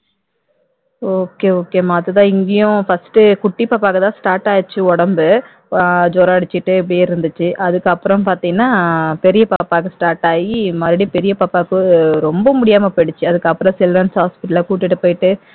okay okay மா அதுதான் இங்கேயும் first குட்டி பாப்பா தான் start ஆயிடுச்சு உடம்பு ஜுரம் அடிச்சுட்டு இப்படியே இருந்துச்சி அதுக்கப்புறம் அப்புறம் பார்த்தீங்கன்னா பெரிய பாப்பாக்கு start ஆகி மறுபடியும் பெரிய பாப்பாக்கு ரொம்ப முடியாம போயிடுச்சு அதுக்கப்புறம் children's hospital ல கூட்டிட்டு போயிட்டு